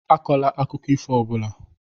Akọla akụkọ ifo ọ bụla!